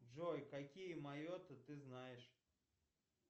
джой какие майотты ты знаешь